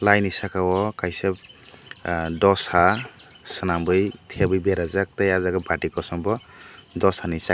blai ni saka o kaisa dosa swanmui teui berajak tai aw jaaga bati kosom bo dosa ni site.